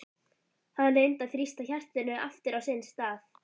Hann reyndi að þrýsta hjartanu aftur á sinn stað.